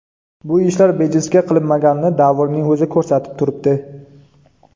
Bu ishlar bejizga qilinmaganini davrning o‘zi ko‘rsatib turibdi.